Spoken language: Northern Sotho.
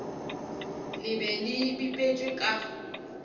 le be le bipetšwe ka